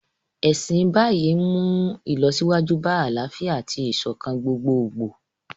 Ẹ̀sìn Báì ń mú ìlọsíwájú bá àlàáfíà àti ìṣọ̀kan gbogboogbò